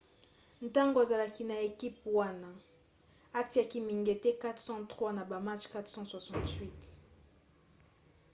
ntango azalaki na ekipe wana atiaki mingete 403 na ba match 468